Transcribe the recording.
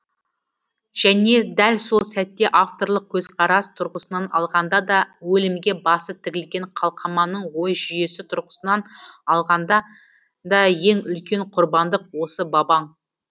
және дәл сол сәтте авторлық көзқарас тұрғысынан алғанда да өлімге басы тігілген қалқаманның ой жүйесі тұрғысынан алғанда да ең үлкен құрбандық осы бабаң